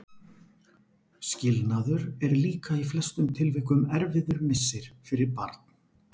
Skilnaður er líka í flestum tilvikum erfiður missir fyrir barn.